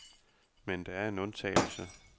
Men der er en undtagelse.